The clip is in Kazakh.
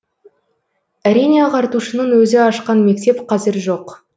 әрине ағартушының өзі ашқан мектеп қазір жоқ